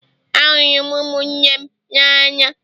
Ahụrụ m ụmụnne m n'anya